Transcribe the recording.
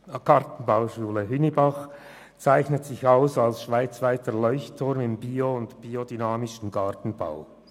Die Gartenbauschule Hünibach zeichnet sich aus als schweizweiter Leuchtturm im biodynamischen Gartenbau.